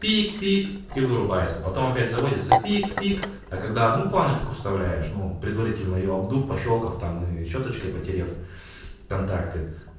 пик-пик и вырубается потом опять заводится пик-пик а когда одну планочку вставляешь но предварительно её обдув пощёлкав там и щёточкой потерев контакты